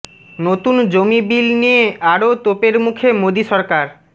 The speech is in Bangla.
নতুন জমি বিল নিয়ে আরও তোপের মুখে মোদী সরকার